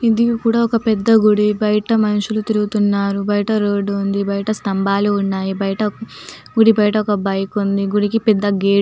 ఇది కూడా ఒక్క పెద్ద గుడిబయట మనుషులు తిరుగుతున్నారుబయట రోడ్డు ఉందిబయట స్తంభాలు ఉన్నాయి బయట గుడి బయట ఒక్క బైక్ ఉంది గుడికి పెద్ద గేట్ ఉంది